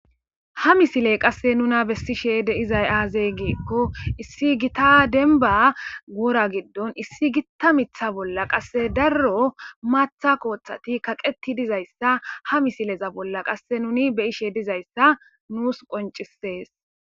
Ha misile qase nuna besishe de'izay aze giko issi gitta wora issi gita mithiy la qase daro matha kothati kaqeti dizaysa ha misile bolla qase nuni beyishe dizaysa nus qoncises